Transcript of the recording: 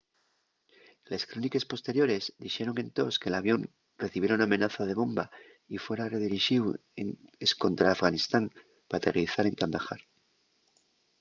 les cróniques posteriores dixeron entós que l’avión recibiera una amenaza de bomba y fuera redirixíu escontra afganistán p'aterrizar en kandahar